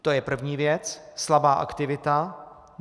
To je první věc - slabá aktivita.